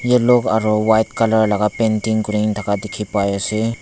yellow aro white color laga painting kurina thaka dikhipai ase.